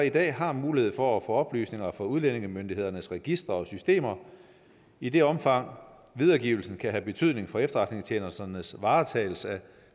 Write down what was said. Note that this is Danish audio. i dag har mulighed for at få oplysninger fra udlændingemyndighedernes registre og systemer i det omfang videregivelsen kan have betydning for efterretningstjenesternes varetagelse af